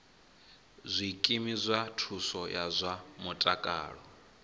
zwikimu zwa thuso ya zwa mutakalo